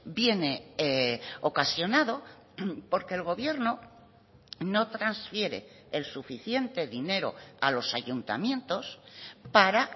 viene ocasionado porque el gobierno no transfiere el suficiente dinero a los ayuntamientos para